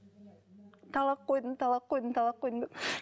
талақ қойдым талақ қойдым талақ қойдым деп